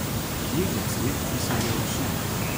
Kje je cvet, ki se je osul?